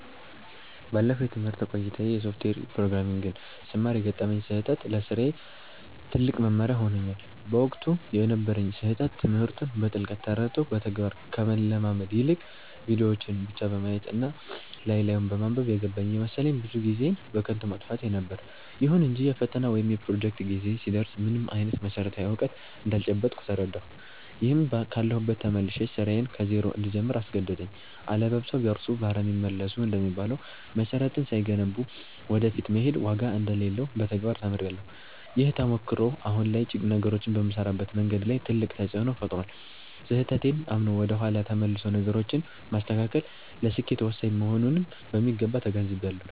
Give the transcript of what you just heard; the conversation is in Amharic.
ባለፈው የትምህርት ቆይታዬ የሶፍትዌር ፕሮግራሚንግን ስማር የገጠመኝ ስህተት ለስራዬ ትልቅ መማሪያ ሆኖኛል። በወቅቱ የነበረኝ ስህተት ትምህርቱን በጥልቀት ተረድቶ በተግባር ከመለማመድ ይልቅ፣ ቪዲዮዎችን ብቻ በማየት እና ላይ ላዩን በማንበብ 'የገባኝ' እየመሰለኝ ብዙ ጊዜዬን በከንቱ ማጥፋቴ ነበር። ይሁን እንጂ የፈተና ወይም የፕሮጀክት ጊዜ ሲደርስ ምንም አይነት መሰረታዊ እውቀት እንዳልጨበጥኩ ተረዳሁ፤ ይህም ካለሁበት ተመልሼ ስራዬን ከዜሮ እንድጀምር አስገደደኝ።' አለባብሰው ቢያርሱ በአረም ይመለሱ' እንደሚባለው፣ መሰረትን ሳይገነቡ ወደ ፊት መሄድ ዋጋ እንደሌለው በተግባር ተምሬያለሁ። ይህ ተሞክሮ አሁን ላይ ነገሮችን በምሰራበት መንገድ ላይ ትልቅ ተፅእኖ ፈጥሯል። ስህተቴን አምኖ ወደ ኋላ ተመልሶ ነገሮችን ማስተካከል ለስኬት ወሳኝ መሆኑንም በሚገባ ተገንዝቤያለሁ።